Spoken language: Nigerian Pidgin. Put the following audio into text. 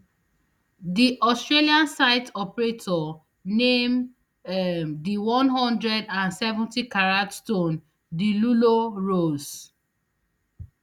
di australian site operator name um di one hundred and seventycarat stone the lulo ros